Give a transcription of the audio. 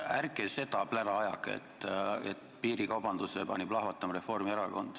Ärge seda plära ajage, et piirikaubanduse pani plahvatama Reformierakond.